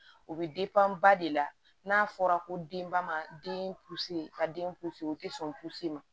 O bɛ ba de la n'a fɔra ko denba man den ka den o tɛ sɔn ma